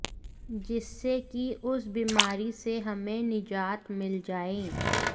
जिससे कि उस बीमारी से हमें निजात मिल जाएं